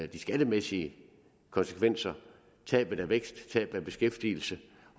de skattemæssige konsekvenser tabet af vækst tabet af beskæftigelse